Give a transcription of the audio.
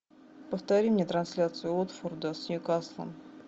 повтори мне трансляцию уотфорда с ньюкаслом